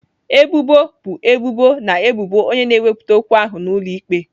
Ebubo bụ ebubo na ebubo onye na-ewepụta okwu ahụ n'ụlọ ikpe.